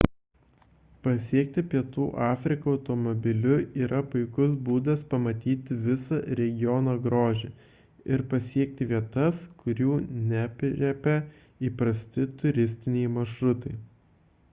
pasiekti pietų afriką automobiliu yra puikus būdas pamatyti visą regiono grožį ir pasiekti vietas kurių neaprėpia įprasti turistiniai maršrutai